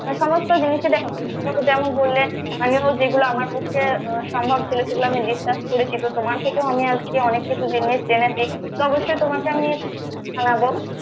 সমস্ত জিনিসে যেমন বললেন, আমিও যেগুলো আমার পক্ষে সম্ভব ছিল সেগুলো আমি discuss করেছি বা তোমার থেকেও আমি আজকে অনেক কিছু জিনিস জেনেছি তো অবশ্যই তোমাকে আমি জানাবো